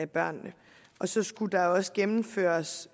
børnene og så skulle der også gennemføres